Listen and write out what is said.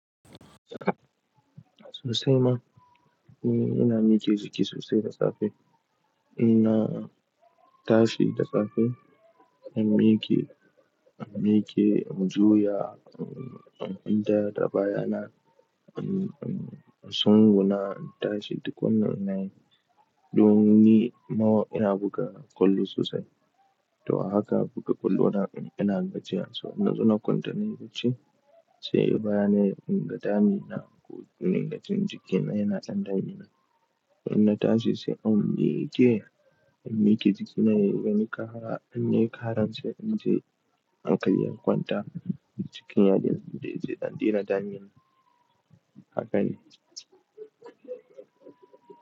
Sosai ma. Eh, ina miƙe jiki sosai da safe. Inna tashi da safe, in miƙe, in miƙe in juya, in taya tabaya na, in tsunguna, in tashi duk wannan ina yi, domin ni ina buga kwallo sosai. To a haka buga kwallo na, ina gajiyansu. Ina so na kwanta nayi bacci, sai bana inga damina ko ninga jin jikina yana ɗan damina. Inna tashi sai in miƙe, in miƙe jikina, in yi wani kara, in yi karan sai in je in kalli an kwanta cikin yadin. Sai in je ya daina damina. Haka ne.